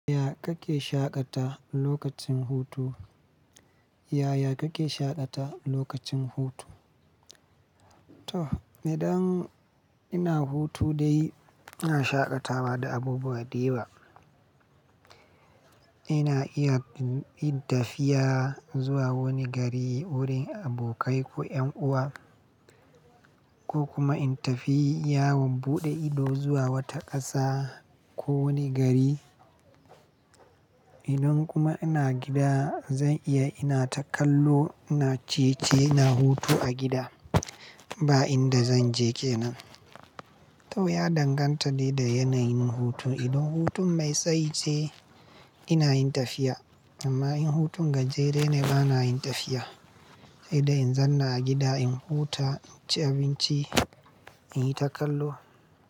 Yaya kake shaƙata lokacin hutu? Yaya kake shaƙata lokacin hutu? To idan ina hutu dai ina shaƙatawa da abubuwa da yawa. Ina iya bin tafiya zuwa wani gari wurin abokai ko 'yan uwa, ko kuma in tafi yawon buɗe ido zuwa wata ƙasa ko wani gari. Idan kuma ina gida zan iya ina takallo, ina ciye-ciye, ina hutu a gida ba inda zan je ke nan. To ya danganta ne da yanayin hutu. Idan hutun mai tsayi ce ina yin tafiya amma in hutun gajere ne bana yin tafiya. Sai dai in zan na a gida in huta, inci abinci, in yi takallo.